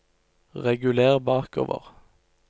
reguler bakover